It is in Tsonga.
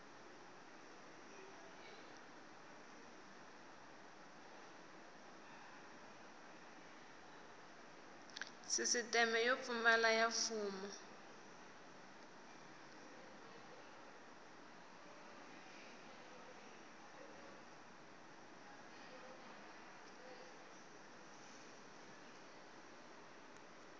sisiteme yo pulana ya mfumo